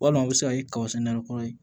Walima u bɛ se ka kɛ kabakisɛ nɛgɛ kɔrɔ ye